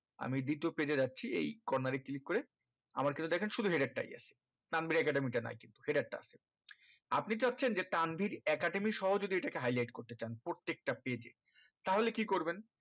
আমি দ্বিতীয় page এ যাচ্ছি এই কর্নার এ click করে আমর কিন্তু দেখেন শুধু header টাই আছে তানভীর academy টা নাই কিন্তু header টা আছে আপনি চাচ্ছেন যে তানভীর academy সহ যদি এটাকে high light করতে চান প্রত্যেকটা page এ তাহলে কি করবেন